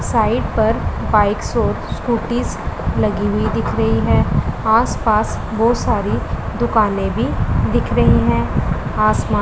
site पर bike और scooty लगी हुई दिख रही है आस पास बहुत सारी दुकानें भी दिख रही हैं आसमान--